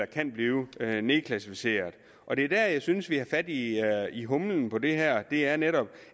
kan blive nedklassificeret og det er der jeg synes vi har fat i i humlen ved det her her netop